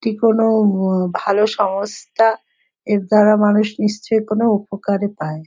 এটি কোনো উম ভালো সংস্থা এর দ্বারা মানুষ নিশ্চই কোনো উপকার ই পায়।